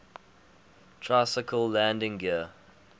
tricycle landing gear